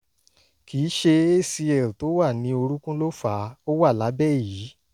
kì í ṣe acl tó wà ní orúnkún ló fà á; ó wà lábẹ́ èyí